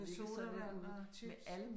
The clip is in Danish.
Med sodavand og chips?